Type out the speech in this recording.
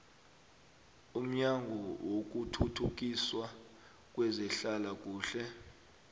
yomnyango wokuthuthukiswa kwezehlalakuhle